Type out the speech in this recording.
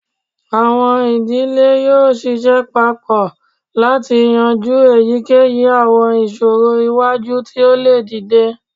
Awọn idile yoo ṣiṣẹ papọ lati yanju eyikeyi awọn iṣoro iwaju ti o le dide